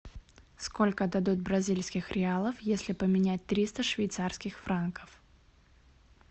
сколько дадут бразильских реалов если поменять триста швейцарских франков